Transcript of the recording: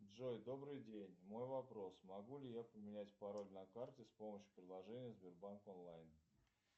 джой добрый день мой вопрос могу ли я поменять пароль на карте с помощью приложения сбербанк онлайн